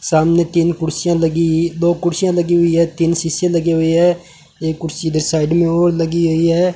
सामने तीन कुर्सियां लगी दो कुर्सियां लगी हुई है तीन शीशे लगे हुई है एक कुर्सी इधर साइड में और लगी हुई है।